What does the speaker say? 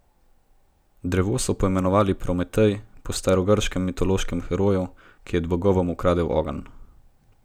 Drevo so poimenovali Prometej po starogrškem mitološkem heroju, ki je bogovom ukradel ogenj.